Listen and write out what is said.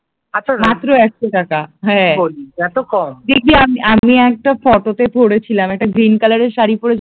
দেখবি আমি একটা ফটোতে পড়েছিলাম একটা গ্রীন কালার এর শাড়ি পরে